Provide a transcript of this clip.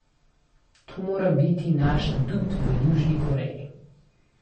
To mora biti naš adut v Južni Koreji.